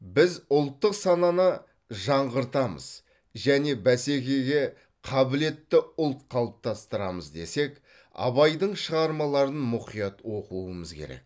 біз ұлттық сананы жаңғыртамыз және бәсекеге қабілетті ұлт қалыптастырамыз десек абайдың шығармаларын мұқият оқуымыз керек